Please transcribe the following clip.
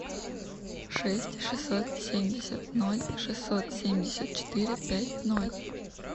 шесть шестьсот семьдесят ноль шестьсот семьдесят четыре пять ноль